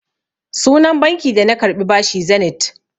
Sunan banki da na karɓi bashi Zenith.